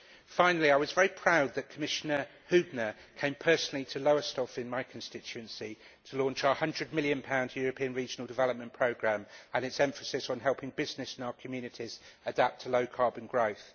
Finally, I was very proud that Commissioner Hübner came personally to Lowestoft, in my constituency, to launch our GBP 100 million European regional development programme and its emphasis on helping business in our communities adapt to low carbon growth.